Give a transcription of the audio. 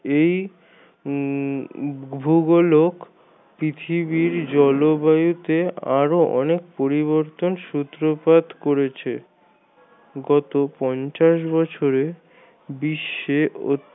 এই উম ভূগোলক পৃথিবীর জলবায়ুতে আরো অনেক পরিবর্তন সূত্রপাত করেছে গত পঞ্চাশ বছরে বিশ্বে অত